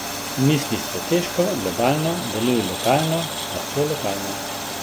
Misli strateško, globalno, deluj lokalno, lahko lokalno.